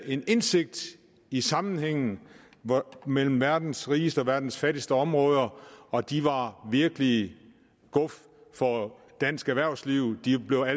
en indsigt i sammenhængen mellem verdens rigeste og verdens fattigste områder og de var virkelig guf for dansk erhvervsliv de blev